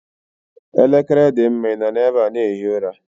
Elekere dị mma ị nọ n'ebe a na-ehi ụra.